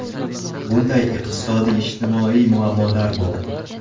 Bunday iqtisodiy-ijtimoiy muammolar bor.